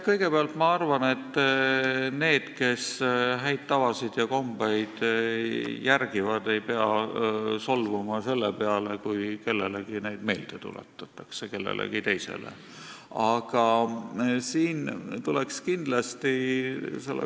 Kõigepealt ma arvan, et need, kes häid tavasid ja kombeid järgivad, ei pea solvuma selle peale, kui kellelegi teisele neid meelde tuletatakse.